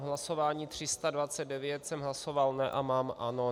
V hlasování 329 jsem hlasoval ne, a mám ano.